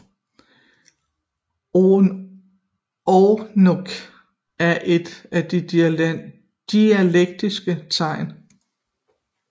Ogonek er et af de diakritiske tegn